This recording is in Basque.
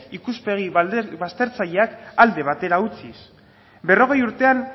ikuspegi baztertzaileak alde batera utziz berrogei urtetan